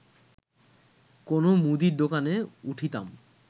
কোনো মুদীর দোকানে উঠিতাম